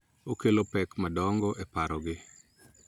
Okelo pek madongo e parogi .